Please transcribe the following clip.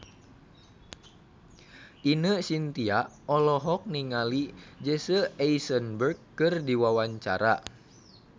Ine Shintya olohok ningali Jesse Eisenberg keur diwawancara